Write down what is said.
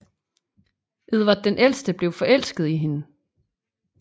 Edvard den ældre blev forelsket i hende